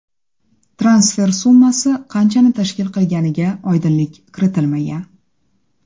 Transfer summasi qanchani tashkil qilganiga oydinlik kiritilmagan.